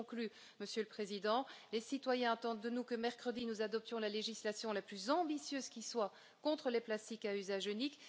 Je conclus, Monsieur le Président, les citoyens attendent de nous que mercredi nous adoptions la législation la plus ambitieuse qui soit contre les plastiques à usage unique.